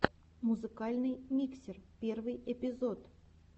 музыкальный миксер первый эпизод